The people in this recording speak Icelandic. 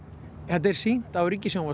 þetta er sýnt á